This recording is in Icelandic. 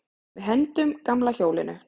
Við hendum gamla hjólinu.